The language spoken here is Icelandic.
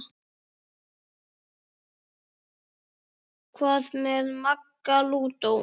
Hvað með Magga lúdó?